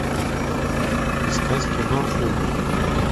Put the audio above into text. искать кино умник